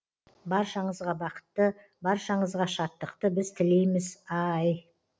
баршаңызға бақытты баршаңызға шаттықты біз тілейміз аааааай